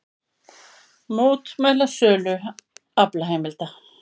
Mótmæla sölu aflaheimilda